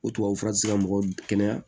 O tubabu fura ti se ka mɔgɔ kɛnɛya